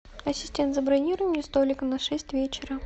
ассистент забронируй мне столик на шесть вечера